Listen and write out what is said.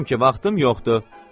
Deyirəm ki, vaxtım yoxdur.